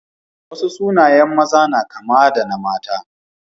Wasu sunayen maza na kama da na mata.